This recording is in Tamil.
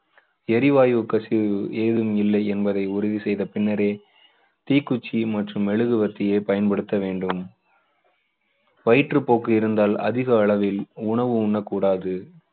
எரிவாயு கசிவு ஏதுமில்லை என்பதை உறுதி செய்த பின்னரே தீக்குச்சி மற்றும் மெழுகுவர்த்தியை பயன்படுத்த வேண்டும். வயிற்றுப்போக்கு இருந்தால் அதிக அளவில் உணவு உண்ணக்கூடாது.